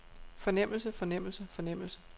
fornemmelse fornemmelse fornemmelse